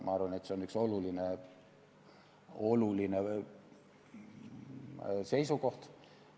Ma arvan, et see on oluline seisukoht.